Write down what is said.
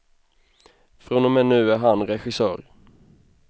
Från och med nu är han regissör.